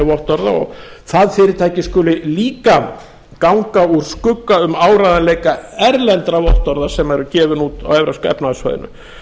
vottorða og það fyrirtæki skuli líka ganga úr skugga um áreiðanleika erlendra vottorða sem eru gefin út á evrópska efnahagssvæðinu